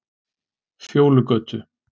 Fjólugötu